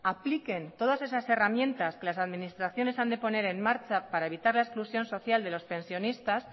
apliquen todas esas herramientas que las administraciones han de poner en marcha para evitar la exclusión social de los pensionistas